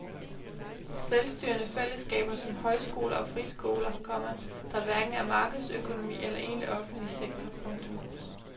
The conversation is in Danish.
Selvstyrende fællesskaber som højskoler og friskoler, komma der hverken er markedsøkonomi eller egentlig offentlig sektor. punktum